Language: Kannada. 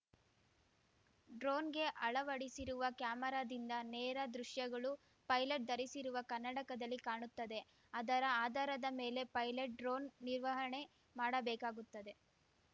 ಡ್ರೋನ್‌ಗೆ ಅಳವಡಿಸಿರುವ ಕ್ಯಾಮೆರಾದಿಂದ ನೇರ ದೃಶ್ಯಗಳು ಪೈಲೆಟ್‌ ಧರಿಸಿರುವ ಕನ್ನಡಕದಲ್ಲಿ ಕಾಣುತ್ತದೆ ಅದರ ಆಧಾರದ ಮೇಲೆ ಪೈಲಟ್‌ ಡ್ರೋನ್‌ ನಿರ್ವಹಣೆ ಮಾಡಬೇಕಾಗುತ್ತದೆ